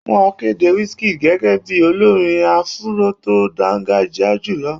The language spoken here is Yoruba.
Wọ́n kéde Wizkid gẹ́gẹ́ bíi olórin áfúró tó dángájíá jùlọ